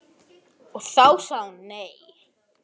Og þá sagði hann nei.